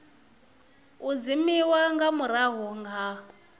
u dzimiwa nga murahu ha